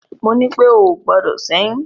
Mo ní pé o ò gbọdọ̀ ṣẹ́yún!